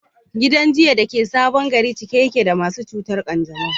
Gidan jinya da ke Sabon Gari cike yake da masu cutar kanjamau.